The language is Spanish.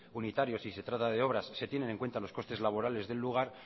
unitarios si se trata de obras se tienen en cuenta los costes laborales del lugar